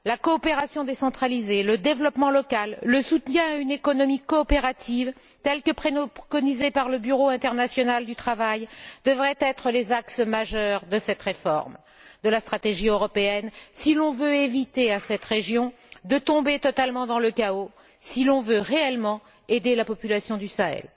La coopération décentralisée, le développement local, le soutien à une économie coopérative telle que préconisée par le Bureau international du travail devraient être les axes majeurs de cette réforme de la stratégie européenne, si l'on veut éviter à cette région de tomber totalement dans le chaos, si l'on veut réellement aider la population du Sahel.